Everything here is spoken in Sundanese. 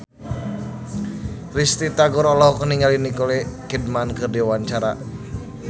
Risty Tagor olohok ningali Nicole Kidman keur diwawancara